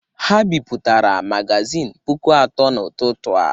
Ha bipụtara magazịn puku atọ n'ụtụtụ a.